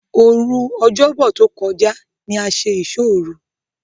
Òru Ọ̀jọ́bọ̀ tó kọjá ní a ṣe ìsóòru.